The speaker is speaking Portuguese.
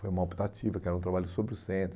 Foi uma optativa, que era um trabalho sobre o centro.